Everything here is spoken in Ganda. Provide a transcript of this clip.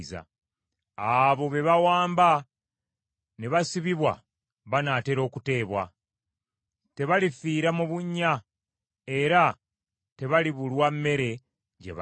Abo be bawamba ne basibibwa banaatera okuteebwa, tebalifiira mu bunnya, era tebalibulwa mmere gye balya.